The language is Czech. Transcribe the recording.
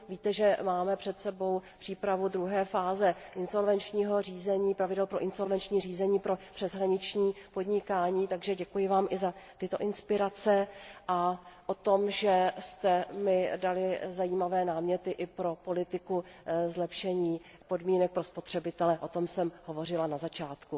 Víte, že máme před sebou přípravu druhé fáze insolvenčního řízení, pravidel pro insolvenční řízení pro přeshraniční podnikání, takže děkuji vám i za tyto inspirace, a o tom, že jste mi dali zajímavé náměty i pro politiku zlepšení podmínek pro spotřebitele, o tom jsem hovořila na začátku.